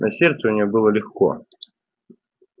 на сердце у нее было легко